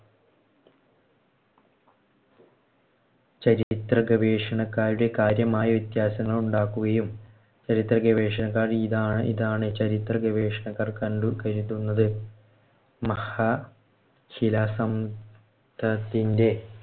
ചരിത്രഗവേഷണക്കാരുടെ കാര്യമായ വ്യത്യാസങ്ങള്‍ ഉണ്ടാക്കുകയും ചരിത്രഗവേഷണക്കാർ ഇതാണ് ഇതാണ് ചരിത്രഗവേഷണക്കാർ കണ്ടു കരുതുന്നത്. മഹാശിലാ സം ത്തിന്‍ടെ